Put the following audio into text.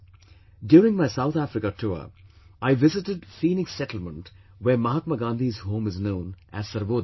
During my South Africa tour, I visited Phoenix settlement where Mahatma Gandhi's home is known as 'Sarvodaya'